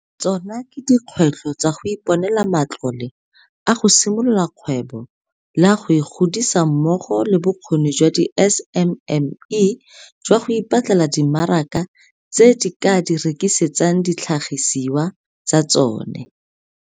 Tsona ke dikgwetlho tsa go iponela matlole a go simolola kgwebo le a go e godisa mmogo le bokgoni jwa di-SMME jwa go ipatlela dimaraka tse di ka di rekisetsang ditlhagisiwa tsa tsona.